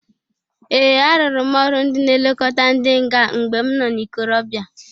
Ee! Arụrụ m ọrụ ndị na-elokota ndị nga mgbe m no n'ikorobia